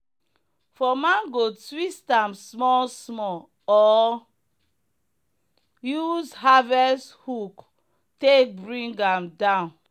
for mango twist am small small or use harvest hook take bring am down.